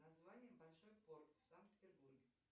название большой порт в санкт петербурге